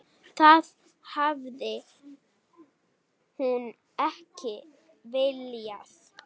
Það hafi hún ekki viljað.